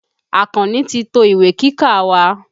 Àkànní ti to ìwé kíkà wa.